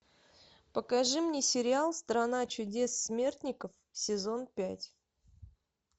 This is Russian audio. покажи мне сериал страна чудес смертников сезон пять